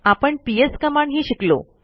आपण पीएस कमांडही शिकलो